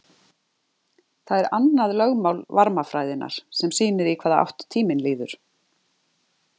það er annað lögmál varmafræðinnar sem sýnir í hvaða átt tíminn líður